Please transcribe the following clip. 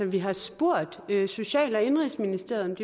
vi har spurgt social og indenrigsministeriet